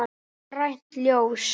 Grænt ljós.